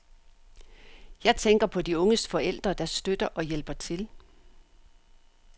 Jeg tænker på de unges forældre, der støtter og hjælper til.